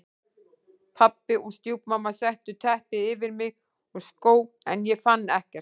Pabbi og stjúpmamma settu teppi yfir mig og skó en ég fann ekkert.